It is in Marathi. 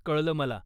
कळलं मला.